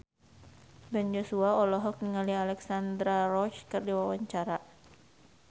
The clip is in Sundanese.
Ben Joshua olohok ningali Alexandra Roach keur diwawancara